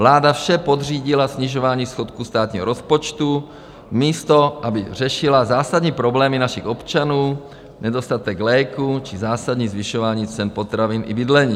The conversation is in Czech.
Vláda vše podřídila snižování schodku státního rozpočtu, místo aby řešila zásadní problémy našich občanů, nedostatek léků či zásadní zvyšování cen potravin i bydlení.